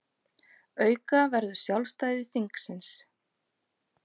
Auka verður sjálfstæði þingsins